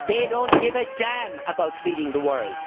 They do not give a damn about feeding the world